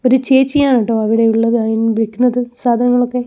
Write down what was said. ഒരു ചേച്ചിയാണട്ടോ അവിടെയുള്ളത് അത് സാധനങ്ങളൊക്കെ--